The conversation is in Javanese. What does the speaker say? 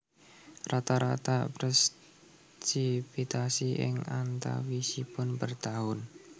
Rata rata presipitasi ing antawisipun per taun